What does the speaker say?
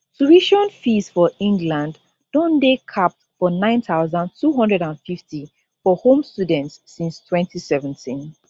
tuition fees for england don dey capped for 9250 for home students since 2017